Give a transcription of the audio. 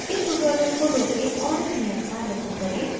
इस tutorial को रोकें और इस नियत कार्य को करें